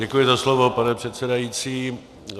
Děkuji za slovo, pane předsedající.